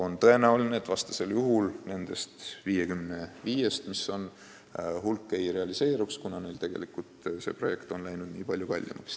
Vastasel juhul jääks mingi hulk nendest 55 projektist realiseerimata, kuna ehitus on läinud nii palju kallimaks.